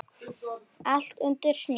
Allt undir snjó.